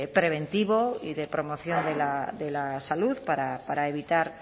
preventivo y de promoción de la salud para evitar